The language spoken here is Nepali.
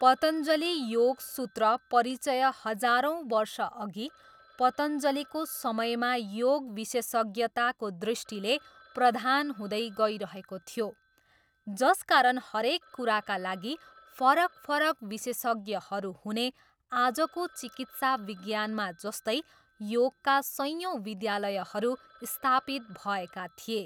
पतञ्जली योग सूत्र परिचय हजारौँ वर्षअघि पतञ्जलीको समयमा योग विशेषज्ञताको दृष्टिले प्रधान हुँदै गइरहेको थियो जसकारण हरेक कुराका लागि फरक फरक विशेषज्ञहरू हुने आजको चिकित्सा विज्ञानमा जस्तै योगका सयौँ विद्यालयहरू स्थापित भएका थिए।